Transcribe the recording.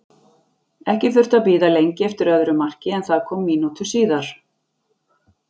Ekki þurfti að bíða lengi eftir öðru marki en það kom mínútu síðar.